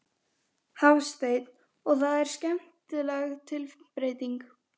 Hafsteinn: Og það er skemmtileg tilbreyting?